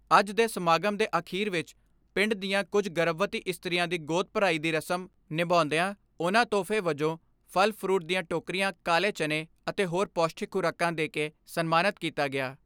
ਅੱਜ ਦੇ ਸਮਾਗਮ ਦੇ ਅਖੀਰ ਵਿਚ ਪਿੰਡ ਦੀਆਂ ਕੁਝ ਗਰਭਵਤੀ ਇਸਤਰੀਆਂ ਦੀ ਗੋਦ ਭਰਾਵੀਂ ਦੀ ਰਸਮ ਨਿਉਂਦਿਆਂ ਉਨ੍ਹਾਂ ਤੋਹਫੇ ਵਜੋਂ ਫਲ ਫਰੂਟ ਦੀਆਂ ਟੋਕਰੀਆਂ ਕਾਲੇ ਚਨੇ ਅਤੇ ਹੋਰ ਪੋਸ਼ਟਿਕ ਖੁਰਾਕਾਂ ਦੇਕੇ ਸਨਮਾਨਤ ਕੀਤਾ ਗਿਆ।